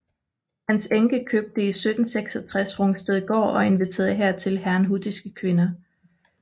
Hans enke købte i 1766 Rungstedgaard og inviterede hertil herrnhutiske kvinder